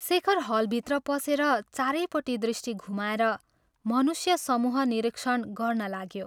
शेखर हलभित्र पसेर चारैपट्टि दृष्टि घुमाएर मनुष्यसमूह निरीक्षण गर्न लाग्यो।